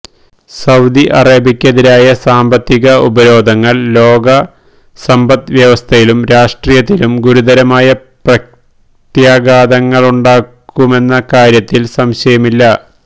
Saudi അറേബ്യക്കെതിരായ സാമ്പത്തിക ഉപരോധങ്ങൾ ലോക സമ്പദ്വ്യവസ്ഥയിലും രാഷ്ട്രീയത്തിലും ഗുരുതരമായ പ്രത്യാഘാതങ്ങളുണ്ടാക്കുമെന്ന കാര്യത്തിൽ സംശയമില്ല